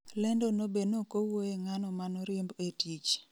Lendo no be nokowuoye ng'ano manoriemb e tich